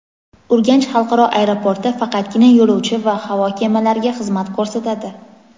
Urganch xalqaro aeroporti faqatgina yo‘lovchi va havo kemalariga xizmat ko‘rsatadi.